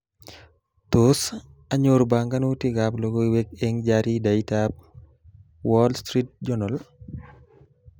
Tos, anyor banganutikab logoiwek eng jaridaitab 'wall street journal'